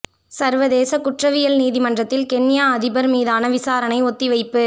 சர்வதேசக் குற்றவியல் நீதிமன்றத்தில் கென்யா அதிபர் மீதான விசாரணை ஒத்திவைப்பு